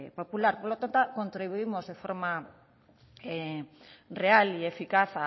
popular por lo tanto contribuimos de forma real y eficaz